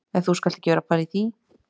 En þú skalt ekki vera að pæla í því